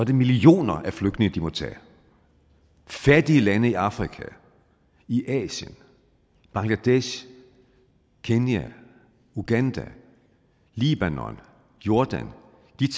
det millioner af flygtninge de må tage fattige lande i afrika i asien bangladesh kenya uganda libanon jordan